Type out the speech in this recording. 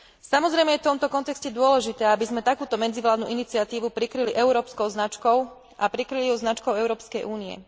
Samozrejme je v tomto kontexte dôležité, aby sme takúto medzivládnu iniciatívu prikryli európskou značkou a prikryli ju značkou Európskej únie.